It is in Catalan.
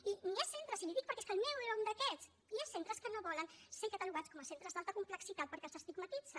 i hi ha centres i li ho dic perquè és que el meu era un d’aquests que no volen ser catalogats com a centres d’alta complexitat perquè els estigmatitza